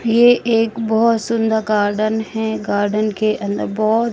ये एक बहुत सुंदर गार्डन है गार्डन के अंदर बहुत--